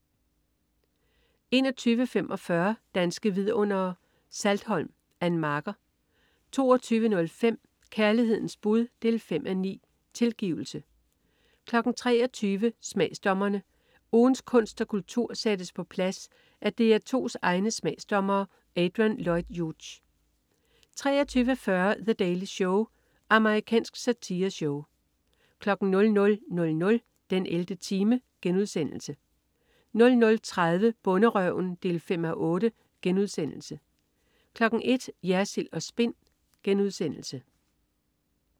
21.45 Danske Vidundere: Saltholm. Ann Marker 22.05 Kærlighedens bud 5:9. Tilgivelse 23.00 Smagsdommerne. Ugens kunst og kultur sættes på plads af DR2's egne smagsdommere. Adrian Lloyd Hughes 23.40 The Daily Show. Amerikansk satireshow 00.00 den 11. time* 00.30 Bonderøven 5:8* 01.00 Jersild & Spin*